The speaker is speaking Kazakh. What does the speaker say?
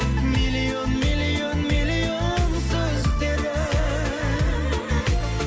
миллион миллион миллион сөздері